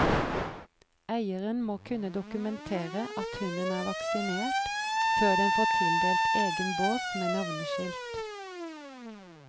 Eieren må kunne dokumentere at hunden er vaksinert før den får tildelt egen bås med navneskilt.